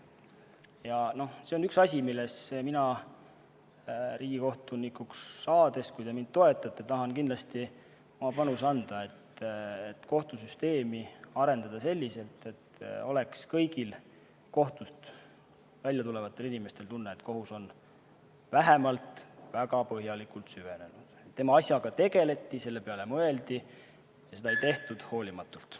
Ja see on üks asi, millesse mina riigikohtunikuks saades, kui te mind toetate, tahan kindlasti oma panuse anda: arendada kohtusüsteemi selliselt, et kõigil kohtust väljuvatel inimestel oleks tunne, et kohus on vähemalt väga põhjalikult süvenenud, – tema asjaga on tegeldud, selle peale on mõeldud ja seda ei ole tehtud hoolimatult.